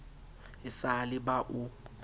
e sa le ba o